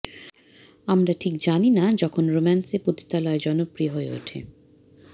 আমরা ঠিক জানি না যখন রোম্যান্সে পতিতালয় জনপ্রিয় হয়ে ওঠে